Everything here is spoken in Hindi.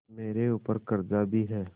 मेरे ऊपर कर्जा भी है